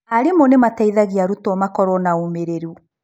Arimũ nĩ mateithagia arutwo makorũo na ũmĩrĩru.